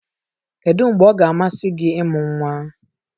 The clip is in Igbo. Kedu mgbe ọ ga-amasị gị ịmụ nwa?